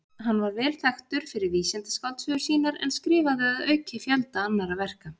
Hann var vel þekktur fyrir vísindaskáldsögur sínar en skrifaði að auki fjölda annarra verka.